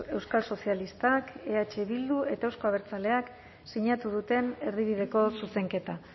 euskal sozialistak eh bildu eta euzko abertzaleak sinatu duten erdibideko zuzenketa